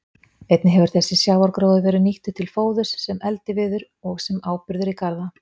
Einnig hefur þessi sjávargróður verið nýttur til fóðurs, sem eldiviður og sem áburður í garða.